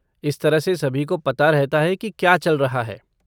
इस तरह से सभी को पता रहता है कि क्या चल रहा है।